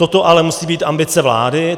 Toto ale musí být ambice vlády.